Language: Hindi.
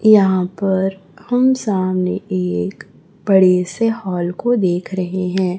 यहां पर हम सामने एक बड़े से हॉल को देख रहे हैं।